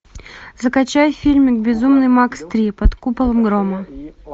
закачай фильм безумный макс три под куполом грома